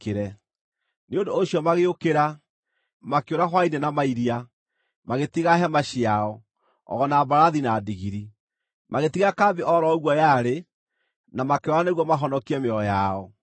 Nĩ ũndũ ũcio magĩũkĩra, makĩũra hwaĩ-inĩ na mairia, magĩtiga hema ciao, o na mbarathi, na ndigiri. Magĩtiga kambĩ o ro ũguo yarĩ, na makĩũra nĩguo mahonokie mĩoyo yao.